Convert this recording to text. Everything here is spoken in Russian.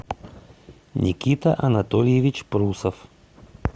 никита анатольевич прусов